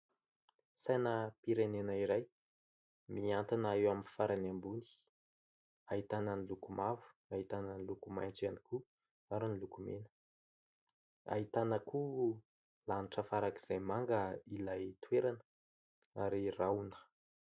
Sainam-pirenena iray, miantona eo amin'ny farany ambony, ahitana ny loko mavo, ahitana ny laiko maitso ihany koa ary ny loko mena. Ahitana koa lanitra farak'izay manga ilay toerana ary rahona.